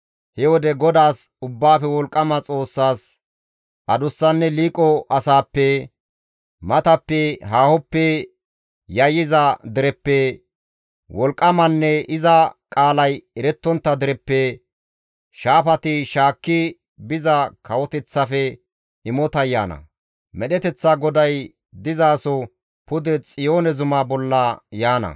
He wode GODAAS Ubbaafe Wolqqama Xoossaas adussanne liiqo asaappe, matappe haahoppe yayyiza dereppe, wolqqamanne iza qaalay erettontta dereppe, shaafati shaakki biza kawoteththafe imotay yaana; medheteththa GODAY dizaso pude Xiyoone zuma bolla yaana.